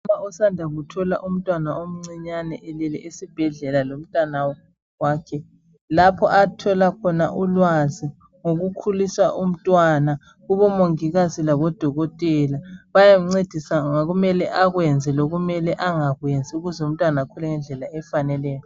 Umuntu osanda kuthola umntwana omcinyane elele esibhedlela lomntwana wakhe lapho athola khona ulwazi ngokukhulisa umntwana kubomongikazi lakubodokotela bayancedisa ngokumele akwenze lokumele angakwenzi ukuze umntwana akhule ngendlela efaneleyo.